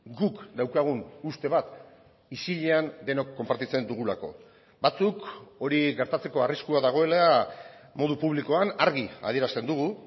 guk daukagun uste bat isilean denok konpartitzen dugulako batzuk hori gertatzeko arriskua dagoela modu publikoan argi adierazten dugu